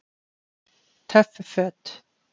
Töff Föt